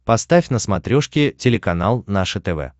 поставь на смотрешке телеканал наше тв